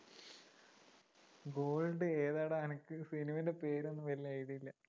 gold ഏതാടാ എനക്ക് cinema ൻറെ പേരൊന്നും വലിയ idea ഇല്ല